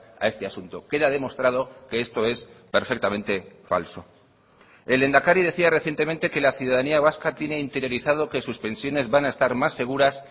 a este asunto queda demostrado que esto es perfectamente falso el lehendakari decía recientemente que la ciudadanía vasca tiene interiorizado que sus pensiones van a estar más seguras